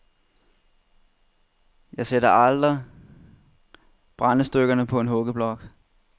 Jeg sætter aldrig brændestykkerne på en huggeblok.